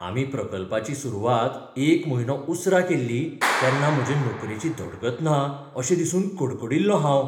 आमी प्रकल्पाची सुरवात एक म्हयनो उसरां केल्ली तेन्ना म्हजे नोकरेची धडगत ना अशें दिसून कडकडील्लों हांव.